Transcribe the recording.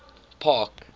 park